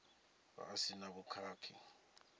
vha a si na vhukhakhi